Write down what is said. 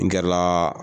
N gɛrɛla